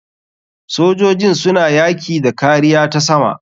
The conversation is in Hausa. Sojojin suna yaki da kariya ta sama.